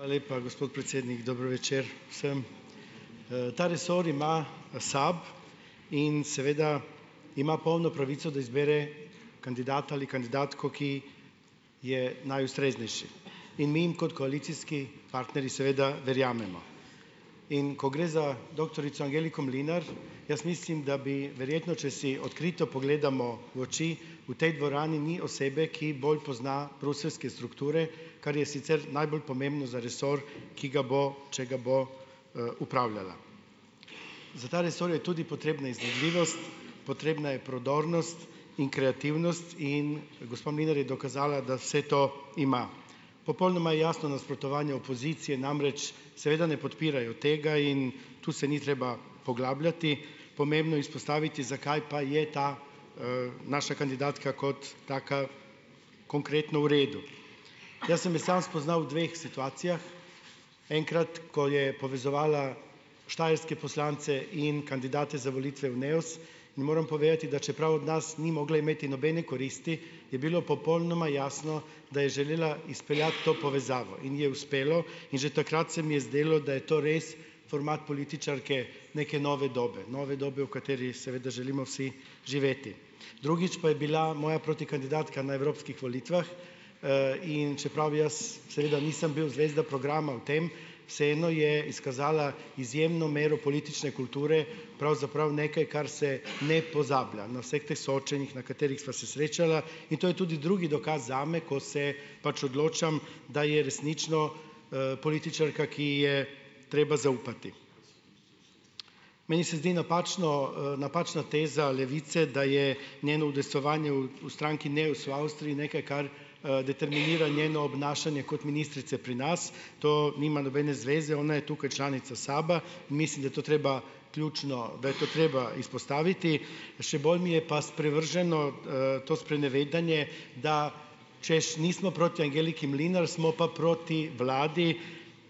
Hvala lepa, gospod predsednik. Dober večer vsem. Ta resor ima SAB in seveda ima polno pravico, da izbere kandidata ali kandidatko, ki je najustreznejši in mi jim kot koalicijski partnerji seveda verjamemo, in ko gre za doktorico Angeliko Mlinar, jaz mislim, da bi, verjetno, če si odkrito pogledamo v oči, v tej dvorani ni osebe, ki bolj pozna bruseljske strukture, kar je sicer najbolj pomembno za resor, ki ga bo, če ga bo, upravljala. Za ta resor je tudi potrebna iznajdljivost, potrebna je prodornost in kreativnost in gospa Mlinar je dokazala, da vse to ima. Popolnoma je jasno nasprotovanje opozicije, namreč, seveda ne podpirajo tega in tu se ni treba poglabljati. Pomembno je izpostaviti, zakaj pa je ta, naša kandidatka kot taka konkretno v redu. Jaz sem jo samo spoznal v dveh situacijah enkrat, ko je povezovala štajerske poslance in kandidate za volitve v Neos, in moram povedati, da čeprav od nas ni mogla imeti nobene koristi je bilo popolnoma jasno, da je želela izpeljati to povezavo in ji je uspelo, in že takrat se mi je zdelo, da je to res format političarke neke nove dobe, nove dobe, v kateri seveda želimo vsi živeti. Drugič pa je bila moja protikandidatka na evropskih volitvah, in čeprav jaz seveda nisem bil zvezda programa v tem, vseeno je izkazala izjemno mero politične kulture, pravzaprav nekaj kar se ne pozabila, na vseh teh soočanjih, na katerih sva se srečala, in to je tudi drugi dokaz zame, ko se pač odločam, da je resnično, političarka, ki je treba zaupati. Meni se zdi napačno, napačna teza Levice, da je njeno udejstvovanje v stranki Neos Avstriji nekaj, kar, determinira njeno obnašanje kot ministrice pri nas, to nima nobene zveze, ona je tukaj članica SAB-a mislim, da je to treba, ključno, da je to treba izpostaviti, še bolj mi je pa sprevrženo, to sprenevedanje, da, češ, nismo proti Angeliki Mlinar, smo pa proti vladi,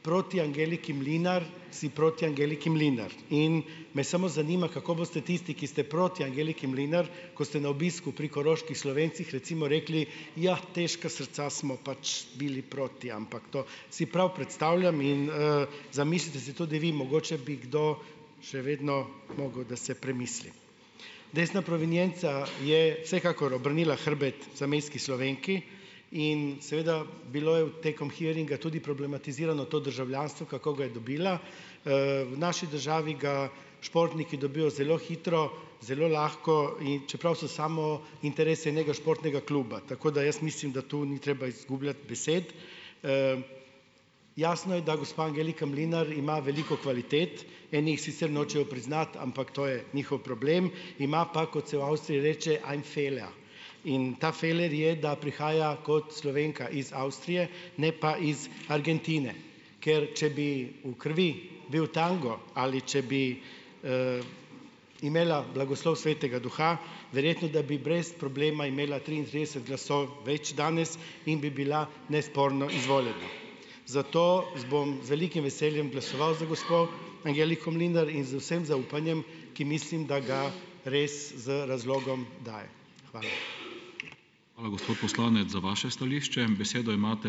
proti Angeliki Mlinar, si proti Angeliki Mlinar in me samo zanima, kako boste tisti, ki ste proti Angeliki Mlinar, ko ste na obisku pri koroških Slovencih, recimo rekli: "Jah, težka srca, smo pač bili proti," ampak to si prav predstavljam in, zamislite si tudi vi, mogoče bi kdo še vedno mogel, da se premisli. Desna provenienca je vsekakor obrnila hrbet zamejski Slovenki in seveda bilo je v tekom hearinga tudi problematizirano to državljanstvo, kako ga je dobila. V naši državi ga športniki dobijo zelo hitro, zelo lahko, in čeprav so samo interesi, ni športnega kluba, tako da jaz mislim, da tu ni treba izgubljati besed. Jasno je, da gospa Angelika Mlinar ima veliko kvalitet, eni jih sicer nočejo priznati, ampak to je njihov problem, ima pa, kot se v Avstriji reče, ein Fehler, in ta feler je, da prihaja kot Slovenka iz Avstrije, ne pa iz Argentine, ker če bi v krvi bil tango ali če bi imela blagoslov svetega duha, verjetno, da bi brez problema imela triintrideset glasov več danes, in bi bila nesporno izvoljena. Zato bom z velikim veseljem glasoval za gospo. Angeliko Mlinar in z vsem zaupanjem, ki mislim, da ga res z razlogom daje. Hvala.